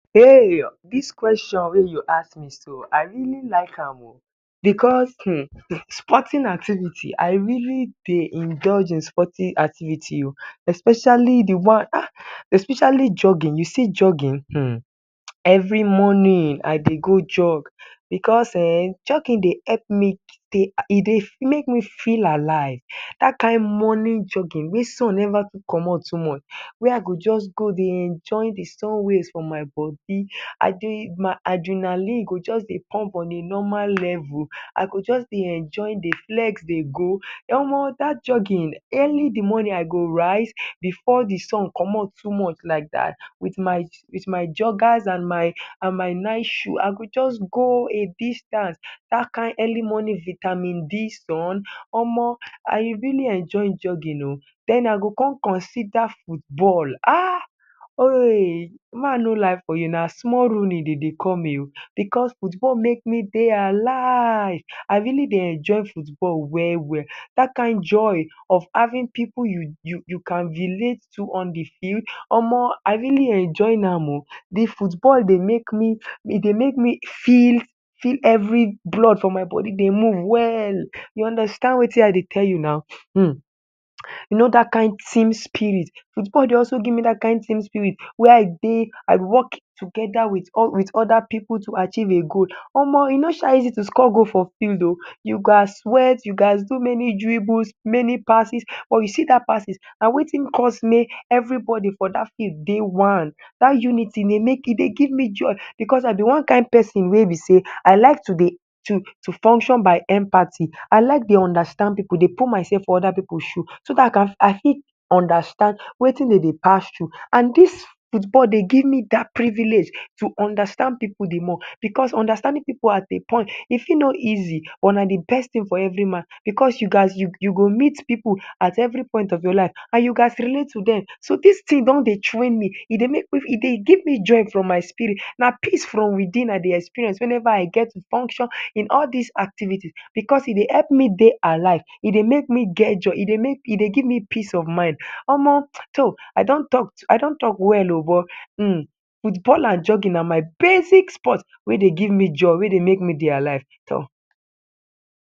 Hey This question wey you ask me so I really like am ooh because hmm hmm sporting activities I really dey indulge in sporting activities ooh especially the one ahh especially jogging you see jogging hmm, every morning I dey go jog because ehh jogging dey help me e dey make me feel alive that kind morning jogging wey sun never too comot too much wey I go just go dey enjoy the sun rays for my body I de my adrenaline go just dey pump on a normal level I go just dey enjoy dey flex dey go omo that jogging early in the morning I go rise before the sun comot too much like that with my joggers and my nice shoe I go just go a distance that kind early morning vitamin d sun omo I really enjoy jogging ooh den I go come consider football ahh ehh ma no lie for you na small rooney dem dey call me ooh because football make me dey alive I really dey enjoy football well well that kind joy of having pipu you can relate too on the field omo I really enjoy am ooh the football dey make me, e dey make me feel every blood for my body dey move well you understand wetin I dey tell you na hmm you know that kind team spirit football dey also give me that kind team spirit wey I dey, I work together with other pipu to achieve a goal omo e no sha easy to score goal for field ooh you gats sweat you gats do many dribbles many passes or you see that passes na wetin cause may everybody for that field dey one that unity e dey make e dey give me joy because I be one kind person wey be sey I like to dey to function by empathy I like dey understand pipu dey put myself for other pipu shoe so that I fit understand wetin dem dey pass through and this football dey give me that privilege to understand pipu the more because understanding pipu at a point e fit no easy but na the best thing for every man because you gats, you go meet pipu at every point of your life and you gats relate with dem so this thing don dey train me e dey make me, e dey give me joy from my spirit na peace from within I dey experience whenever I get to function in all this activities because e dey help me dey alive e dey make em get joy e dey give me peace of mind omo toh I don talk, I don talk well ooh but hmm football and jogging na my basic sport wey dey give me joy wey dey make me dey alive toh.